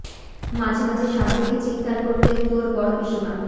মাঝে মাঝে সাপ দেখে চিৎকার করতেন তোর বড় পিসিমা